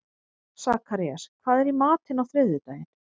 Sakarías, hvað er í matinn á þriðjudaginn?